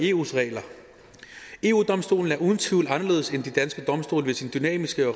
eu regler eu domstolen er uden tvivl anderledes end de danske domstole ved sin dynamiske